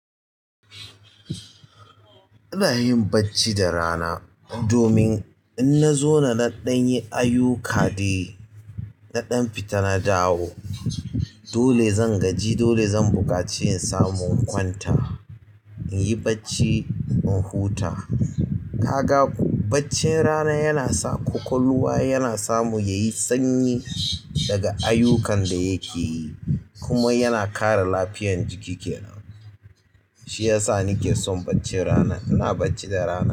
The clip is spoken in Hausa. Ina yin bacci da rana domin in na zauna naɗan yi ayuka dai naɗan fita na dawo. Dole zan gaji, dole zan buƙaci in samu in kwanta, in yi bacci in huta. Ka ga bacci rana yana sa ƙwaƙwalwa yana samu yayi sanyi daga ayyukan da yake yi kuma yana kare lafiyar jiki ke nan. Shi yasa nike son bacci rana. Ina bacci da rana.